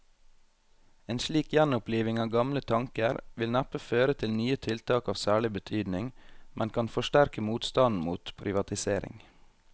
En slik gjenoppliving av gamle tanker vil neppe føre til nye tiltak av særlig betydning, men kan forsterke motstanden mot privatisering.